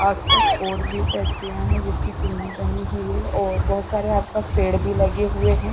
आसपास और भी फैक्ट्रियाँ हैं जिसकी चिमनी बनी हुई है और बहुत सारे आसपास पेड़ भी लगे हुए हैं।